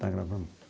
Está gravando?